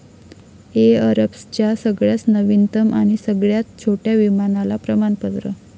एअरबसच्या सगळ्याच नवीनतम आणि सगळ्यात छोट्या विमानाला प्रमणापत्र